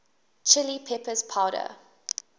chili peppers powder